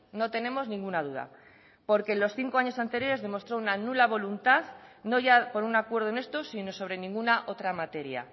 no tenemos ninguna duda porque los cinco años anteriores demostró una nula voluntad no ya por un acuerdo en esto sino sobre ninguna otra materia